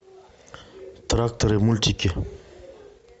тракторы мультики